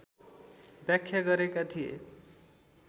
व्याख्या गरेका थिए